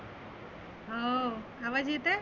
हं हो. आवाज येत आहे?